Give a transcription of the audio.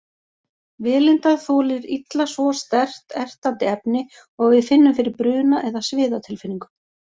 Vélindað þolir illa svo sterkt, ertandi efni og við finnum fyrir bruna- eða sviðatilfinningu.